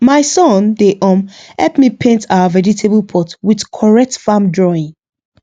my son dey um help me paint our vegetable pot with correct farm drawing